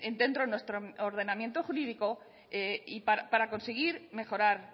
dentro de nuestro ordenamiento jurídico y para conseguir mejorar